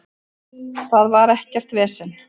Það var ekkert vesen